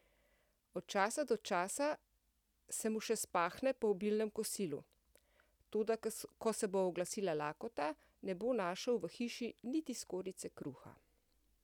Od časa do časa se mu še spahne po obilnem kosilu, toda ko se bo oglasila lakota, ne bo našel v hiši niti skorjice kruha.